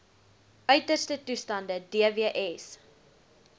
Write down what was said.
uiterste toestande dws